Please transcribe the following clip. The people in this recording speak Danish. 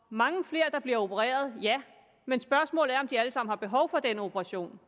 mange flere der bliver opereret ja men spørgsmålet er om de alle sammen har behov for den operation